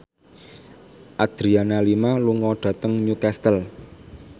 Adriana Lima lunga dhateng Newcastle